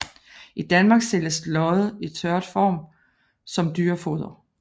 I Danmark sælges lodde i tørret form som dyrefoder